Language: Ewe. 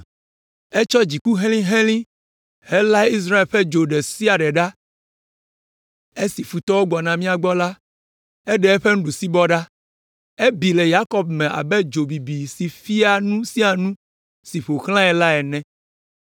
Etsɔ dziku helĩhelĩ helã Israel ƒe dzo ɖe sia ɖe ɖa. Esi futɔwo gbɔna mía gbɔ la, eɖe eƒe nuɖusibɔ ɖa. Ebi le Yakob me abe dzo bibi si fia nu sia nu si ƒo xlãe la ene.